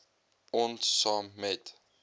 ons saam met